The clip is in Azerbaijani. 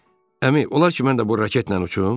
Əmi, olar ki, mən də bu raketlə uçum?